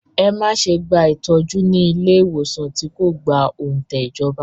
Ẹ má ṣe gba ìtọ́jú ní ilé ìwòsàn tí kò gba òǹtẹ̀ ìjọba!